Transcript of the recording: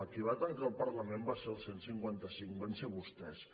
qui va tancar el parlament va ser el cent i cinquanta cinc van ser vostès